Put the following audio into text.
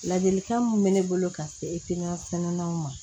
Ladilikan min bɛ ne bolo ka se ma